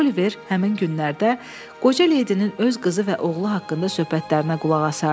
Oliver həmin günlərdə qoca leydinin öz qızı və oğlu haqqında söhbətlərinə qulaq asardı.